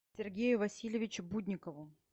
сергею васильевичу будникову